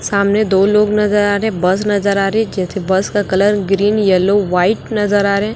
सामने दो लोग नजर आ रहे हैं बस नजर आ रही जैसे बस का कलर ग्रीन येलो व्हाइट नजर आ रहे हैं।